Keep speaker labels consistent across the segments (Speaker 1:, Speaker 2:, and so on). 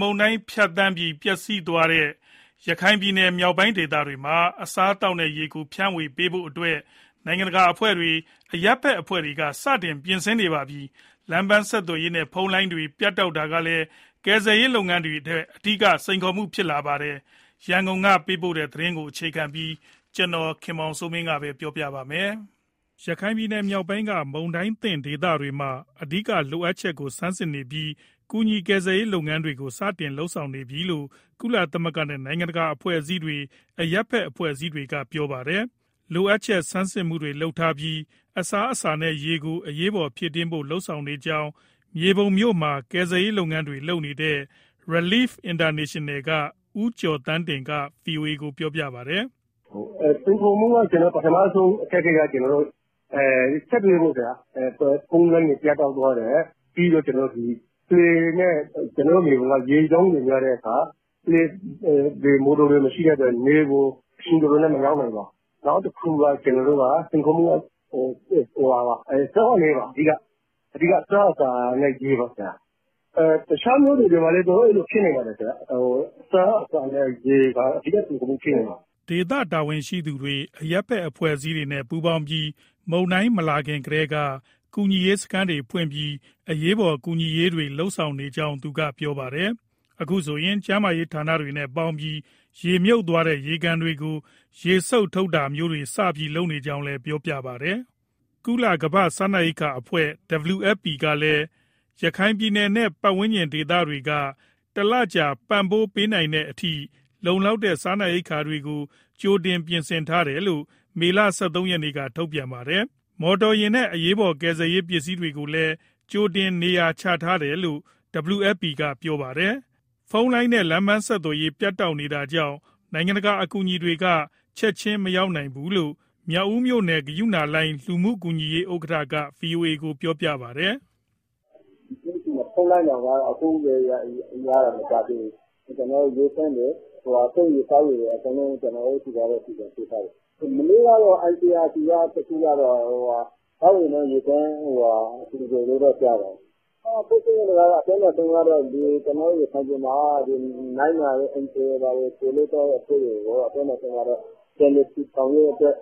Speaker 1: မုန်တိုင်းဖြတ်သန်းပြီး ပျက်စီးမှုများခဲ့တဲ့ ရခိုင်ပြည်နယ် မြောက်ပိုင်းဒေသတွေမှာ အစားအသောက်နဲ့ရေကို ဖြန့်ဝေပေးဖို့အတွက် နိုင်ငံတကာအဖွဲ့တွေ၊ အရပ်ဘက်အဖွဲ့တွေက စတင်ပြင်ဆင်နေပြီ ဖြစ်ပါတယ်။ လမ်းပန်း ဆက်သွယ်ရေးနဲ့ ဖုန်းလိုင်းတွေ ပြတ်တောက်သွားတာကလည်း ကယ်ဆယ်ရေး လုပ်ငန်းတွေအတွက် အဓိက စိန်ခေါ်မှု ဖြစ်လာပါတယ်။ ရန်ကုန်ကပေးတဲ့ သတင်းကိုအခြေခံပြီး ကိုခင်မောင်စိုးမင်းက ပြောပြပေးမှာပါ။ ရခိုင်ပြည်နယ်မြောက်ပိုင်းက မုန်တိုင်းသင့်ဒေသတွေမှာ အဓိကလိုအပ်ချက်ကို ဆန်းစစ်နေပြီး ကူညီကယ်ဆယ်ရေး လုပ်ငန်းတွေကို စတင်လုပ်နေပြီလို့ ကုလသမဂ္ဂနဲ့ နိုင်ငံတကာအဖွဲ့အစည်းတွေ၊ အရပ်ဘက်အဖွဲ့တွေက ပြောပါတယ်။ လိုအပ်ချက်ဆန်းစစ်မှုတွေ လုပ်ထားပြီး အစားအစာနဲ့ ရေကို အရေးပေါ်ဖြည့်တင်းဖို့ လုပ်ဆောင်နေကြောင်း မြေပုံမြို့မှာ ကယ်ဆယ်ရေးလုပ်ငန်းတွေ လုပ်နေတဲ့ Relief International က ဦးကျော်သန်းတင်က ဗွီအိုအေကို ပြောပါတယ်။ "
Speaker 2: စိန်ခေါ်မှု ပထမဆုံးအခက်အခဲက ဆက်သွယ်ရေးပေါ့ ခင်ဗျာ။ ဖုန်းလိုင်းတွေ ပြတ်တောက်သွားတယ်၊ ပြီးတော့ လှေနဲ့ ကျနော်တို့ မြေပုံ က ရေကြောင်းတွေများတဲ့အခါ မော်တော်တွေ မရှိတဲ့အတွက် နယ်ကို အချိန်တော်တော်နဲ့ မရောက်နိုင်ပါ။ နောက်တခုက ကျနော်တို့က စိန်ခေါ်မှုက အဓိကက အစားအစာနဲ့ ရေပါ။ တခြားမြို့တွေမှာလည်း အဲလိုဖြစ်နေပါတယ်၊ အစားအစာနဲ့ ရေက အဓိကစိန်ခေါ်မှု ဖြစ်နိုင်ပါတယ်
Speaker 1: ။" ဒေသတာဝန်ရှိသူတွေ၊ အရပ်ဘက် အဖွဲ့အစည်းတွေနဲ့ ပူးပေါင်းပြီး မုန်တိုင်းမလာခင်ကတည်းက ကူညီရေးစခန်းတွေဖွင့်ပြီး အရေးပေါ် ကူညီရေးတွေ လုပ်နေကြောင်းသူက ပြောပါတယ်။ အခုဆိုရင် ကျန်းမာရေး ဌာနတွေနဲ့ပေါင်းပြီး ရေမြုပ်သွားတဲ့ ရေကန်တွေကို ရေစုပ်ထုတ်တာမျိုးတွေ စပြီးလုပ်နေကြောင်းလည်း ပြောပါတယ်။ ကုလကမ္ဘာ့စားနပ်ရိက္ခာအဖွဲ့ WFP ကလည်း ရခိုင်ပြည်နယ်နဲ့ ပတ်ဝန်းကျင်ဒေသတွေတွေက လူဦးရေ ၄သိန်းကျော်ကို တလကြာ ပံ့ပိုးပေးနိုင်တဲ့အထိ လုံလောက်တဲ့ စားနပ်ရိက္ခာတွေကို ကြိုတင် ပြင်ဆင်ထားတယ်လို့ မေလ ၁၃ရက်က ထုတ်ပြန်ထားတာပါ။ မော်တော်ယာဉ်နဲ့ အရေးပေါ် ကယ်ဆယ်ရေးပစ္စည်းတွေကိုလည်း ကြိုတင်နေရာချထားတယ်လို့ WFP က ပြောတာပါ။ ဖုန်းလိုင်းနဲ့ လမ်းပန်းဆက်သွယ်ရေး ပြတ်တောက်နေတာကြောင့် နိုင်ငံတကာ အကူအညီတွေက ချက်ချင်းမရောက်နိုင်ဘူလို့ မြောက်ဦးမြို့နယ် ဂရုဏာလှိုင်း လူမှုကူညီရေး ဥက္ကဋ္ဌက ဗွီအိုအေကို ပြောပါတယ်။
Speaker 3: "ကျနော်တို့ဆီမှာ ခုမှ ဖုန်းလိုင်းတောင် ရတာမကြာသေးဘူး။ ကျနော်တို့ ရေသန့်တွေ၊ သုံးရေတွေ ကျနော်တို့ဆီက အကုန်လုံး စီစဉ်ပေးထားတယ်။ မနေ့ကတော့ ICRC သောက်ရေနဲ့ ရေသန့် လှူတယ်လို့တော့ ကြားတယ်။ ဖြစ်ချင်တာတော့ ကျနော်တို့ရခိုင်ပြည်မှာ နိုင်ငံတကာ NGO အဖွဲ့တွေကို ပြောမယ်ဆိုရင်တော့ ပြန်လည်ထူထောင်ရေးအတွက်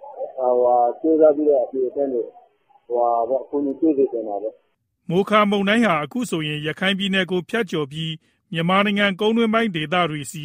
Speaker 3: ကြိုးစားပြီးတော့ အလှူအတန်းတွေ အကူအညီပေးစေ
Speaker 1: ချင်တာပေါ့။" မိုခါမုန်တိုင်းဟာ အခုဆိုရင် ရခိုင်ပြည်နယ်ကို ဖြတ်ကျော်ပြီး မြန်မာနိုင်ငံ ကုန်တွင်းပိုင်းဒေသတွေဆီ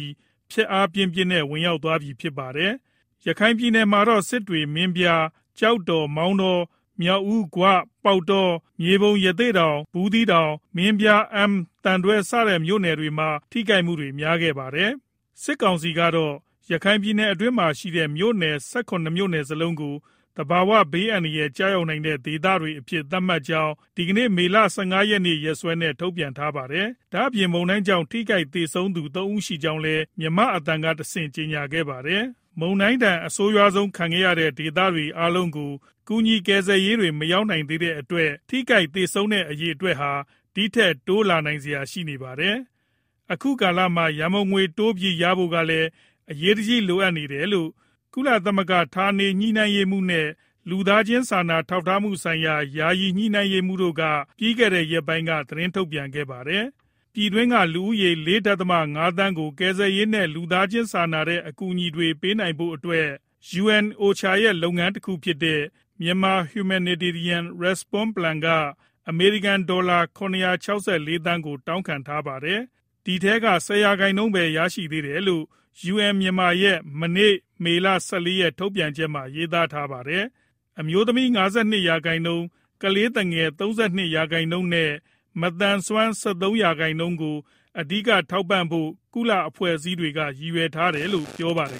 Speaker 1: ဖျက်အားပြင်းပြင်းနဲ့ ဝင်ရောက်သွားပြီ ဖြစ်ပါတယ်။ ရခိုင်မှာတော့ စစ်တွေ၊ မင်းပြား၊ ကျောက်တော်၊ မောင်တော၊ မြောက်ဦး၊ ဂွ၊ ပေါက်တော၊ မြေပုံ၊ ရသေ့တောင်၊ ဘူးသီးတောင်၊ မင်းပြား၊ အမ်း၊ သံတွဲ စတဲ့မြို့နယ်တွေမှာ ထိခိုက်မှု များခဲ့တာပါ။ စစ်ကောင်စီကတော့ ရခိုင်ပြည်နယ်အတွင်းမှာရှိတဲ့ မြို့နယ် ၁၇ မြို့နယ်စလုံးကို သဘာဝဘေးအန္တရာယ်ကျရောက်သော ဒေသများအဖြစ် သတ်မှတ်ကြောင်း ဒီကနေ့ မေလ ၁၅ ရက်နေ့ ရက်စွဲနဲ့ ထုတ်ပြန်ထားပါတယ်။ ဒါ့အပြင် မုန်တိုင်းကြောင့် ထိခိုက် သေဆုံးသူ ၃ ဦးရှိကြောင်းလည်း မြန်မာ့အသံကတဆင့် ကြေညာခဲ့ပါတယ်။ မုန်တိုင်းဒဏ် အဆိုးရွားဆုံး ခံခဲ့ရတဲ့ဒေသတွေ အားလုံးကို ကူညီ ကယ်ဆယ်ရေးတွေ မရောက်သေးတဲ့အတွက် ထိခိုက် သေဆုံးတဲ့အရေအတွက်ဟာ ဒီထက် တိုးလာနိုင်စရာ ရှိနေပါတယ်။ အခုလိုကာလမှာ ရန်ပုံငွေတိုးပြီးရဖို့ကလည်း အရေးတကြီးလိုအပ်နေတယ်လို့ ကုလဌာနေညှိနှိုင်းရေးမှူးနဲ့ လူသားချင်းစာနာ ထောက်ထားမှုဆိုင်ရာ ယာယီညှိနှိုင်းရေးမှူးက ပြီးခဲ့တဲ့ရက်ပိုင်းက သတင်းထုတ်ပြန်ခဲ့ပါတယ်။ ပြည်တွင်းက လူဦးရေ ၄.၅သန်းကို ကယ်ဆယ်ရေးနဲ့ လူသားချင်းစာနာတဲ့ အကူအညီတွေပေးဖို့အတွက် UNOCHA ရဲ့ လုပ်ငန်းတခုဖြစ်တဲ့ Myanmar Humanitarian Response Plan က အမေရိကန်ဒေါ်လာ ၇၆၄ သန်းကို တောင်းခံထားပါတယ်။ ဒီထဲက ၁၀ရာခိုင်နှုန်းပဲ ရရှိသေးတယ်လို့ UN Myanmar ရဲ့ မနေ့ မေလ ၁၄ရက် ထုတ်ပြန်ချက်မှာ ရေးသားထားတာပါ။ အမျိုးသမီး ၅၂ရာခိုင်နှုန်း၊ ကလေးသူငယ် ၃၂ရာခိုင်နှုန်းနဲ့ မသန်စွမ်း ၁၃ရာခိုင်နှုန်းကို အဓိက ထောက်ပံ့ဖို့ ကုလအဖွဲ့အစည်းတွေက ရည်ရွယ်ထားတယ်လို့ ပြောပါတယ်